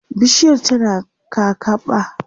bishiyar tana kakaɓa